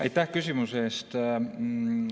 Aitäh küsimuse eest!